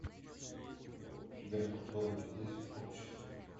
у тебя в каталоге есть общество